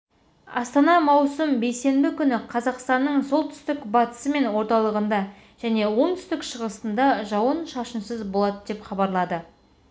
астана маусым қаз бейсенбі күні қазақстанның солтүстік-батысы мен орталығында және оңтүстік-шығысында жауын-шашынсыз болады деп хабарлады